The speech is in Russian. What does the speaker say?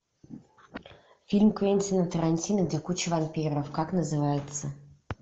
фильм квентина тарантино где куча вампиров как называется